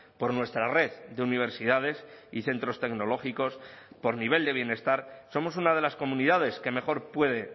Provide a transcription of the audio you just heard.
por nuestra red de universidades y centros tecnológicos por nivel de bienestar somos una de las comunidades que mejor puede